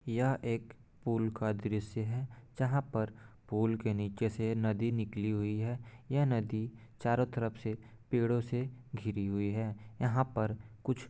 यह एक पूल का दृश्य है जहाँ पर पूल के नीचे से नदी निकली हुई है यह नदी चारों तरफ से पेड़ों से घिरी हुई है यहाँ पर कुछ--